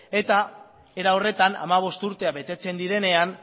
eta era horretan hamabost urteak betetzen direnean